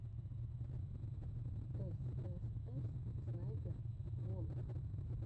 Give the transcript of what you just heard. эс эс эс снайпер волф